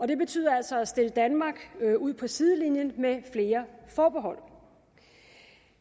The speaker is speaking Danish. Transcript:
det betyder altså at stille danmark ud på sidelinjen med flere forbehold